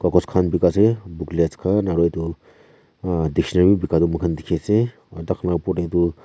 kagos khan bikai ase booklets khan aru etu ahh dictionary bi bikaa toh moikhan dikhi ase aru taikhan laa opor te toh.